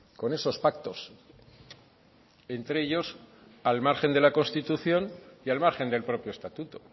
con esos pactos entre ellos al margen de la constitución y al margen del propio estatuto